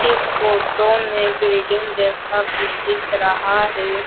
इस फोटो में बिल्डिंग जैसा कुछ दिख रहा है।